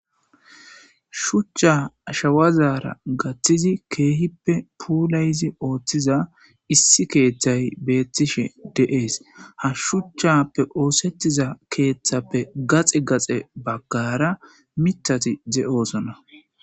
Shuchcha ashawazaara gaththizi keehippe puulayzi ooththiza issi keeththay beettishe de'ees ha shuchchappe oosettiza keeththappe gaxi gaxe baggara mitati ze'oosona.